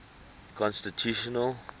constitutional